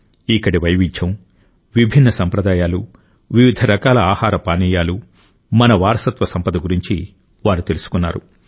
ఇక్కడి వైవిధ్యం విభిన్న సంప్రదాయాలు వివిధ రకాల ఆహార పానీయాలు మన వారసత్వ సంపద గురించి వారు తెలుసుకున్నారు